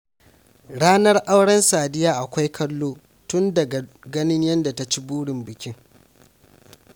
Ranar auren Sadiya akwai kallo, tun daga ganin yadda ta ci burin bikin